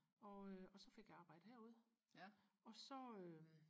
og øh og så fik jeg arbejde herude og så øhm